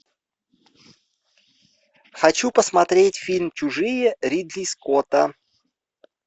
хочу посмотреть фильм чужие ридли скотта